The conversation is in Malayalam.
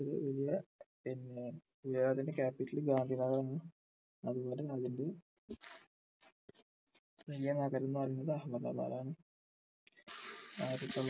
പിന്നെ ഗുജറാത്തിൻ്റെ capital ഗാന്ധിനഗർ ആണ് അതുപോലെ വലിയ നഗരം എന്ന് പറയുന്നത് അഹമ്മദാബാദ് ആണ് ആയിരത്തി തൊള്ളായിരത്തി